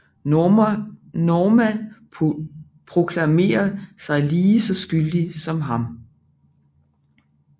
Norma proklamerer sig lige så skyldig som ham